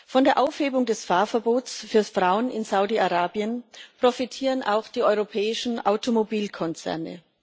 Von der Aufhebung des Fahrverbots für Frauen in Saudi Arabien profitieren auch die europäischen Automobilkonzerne.